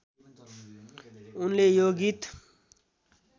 उनले यो गीत